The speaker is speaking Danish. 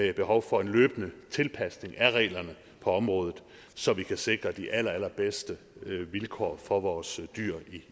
er behov for en løbende tilpasning af reglerne på området så vi kan sikre de allerallerbedste vilkår for vores dyr